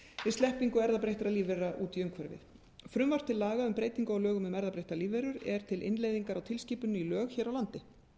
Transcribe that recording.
við sleppingu erfðabreyttra lífvera út í umhverfið frumvarp til laga um breytingu á lögum um erfðabreyttar lífverur er til innleiðingar á tilskipuninni í lög hér á landi